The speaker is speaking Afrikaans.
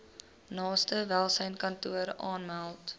naaste welsynskantoor aanmeld